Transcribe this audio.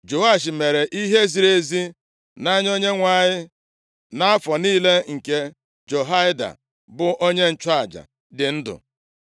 Joash mere ihe ziri ezi nʼanya Onyenwe anyị nʼafọ niile nke Jehoiada bụ onye nchụaja, dị ndụ.